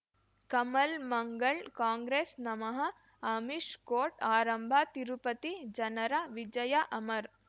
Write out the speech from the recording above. ಕಮಲ್ ಮಂಗಳ್ ಕಾಂಗ್ರೆಸ್ ನಮಃ ಅಮಿಷ್ ಕೋರ್ಟ್ ಆರಂಭ ತಿರುಪತಿ ಜನರ ವಿಜಯ ಅಮರ್